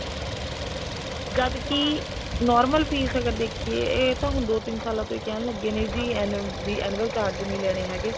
ਜਦ ਕੀ normal fees ਅਗਰ ਦੇਖੀਏ ਤਾਂ ਇਹ ਹੁਣ ਦੋ ਤਿੰਨ ਸਾਲਾਂ ਤੋਂ ਹੀ ਕਹਿਣ ਲੱਗੇ ਨੇ ਜੀ annual charge ਨੀ ਲੈਣੇ ਹੈਗੇ